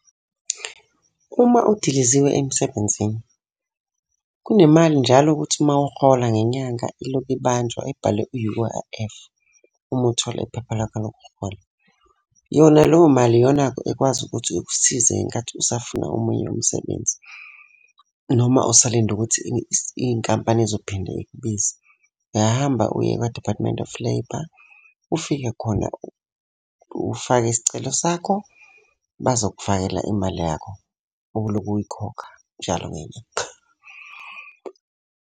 Uma udiliziwe emsebenzini, kunemali njalo ukuthi uma uhola ngenyanga ilokhu ibanjwa ebhalwe u-U_I_F, uma uthola iphepha lakho lokuhola. Yona leyo mali iyona-ke ekwazi ukuthi ikusize ngenkathi usafuna omunye umsebenzi, noma usalinde ukuthi inkampani izophinde ikubize. Uyahamba uye kwa-Department of Labour, ufike khona ufake isicelo sakho, bazokufakela imali yakho obulokhu uyikhokha njalo ngenyanga.